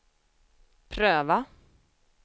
pröva